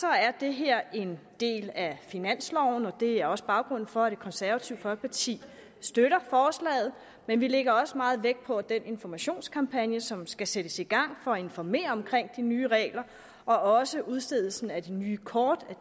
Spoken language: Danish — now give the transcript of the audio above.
er det her en del af finansloven og det er også baggrunden for at det konservative folkeparti støtter forslaget men vi lægger meget vægt på den informationskampagne som skal sættes i gang for at informere om de nye regler og også at udstedelsen af de nye kort